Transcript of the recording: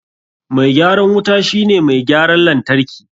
Mai gyaran wuta shi ne mai gyaran lantarki.